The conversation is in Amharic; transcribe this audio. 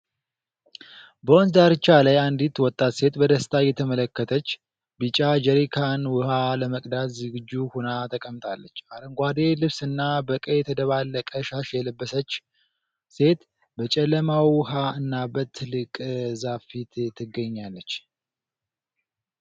በወንዝ ዳርቻ ላይ፣ አንዲት ወጣት ሴት በደስታ እየተመለከተች፣ ቢጫ ጀሪካን ውሃ ለመቅዳት ዝግጁ ሆና ተቀምጣለች። አረንጓዴ ልብስና በቀይ የተደባለቀ ሻሽ የለበሰችው ሴት፣ በጨለማ ውሃ እና በትልቅ ዛፍ ፊት ትገኛለች።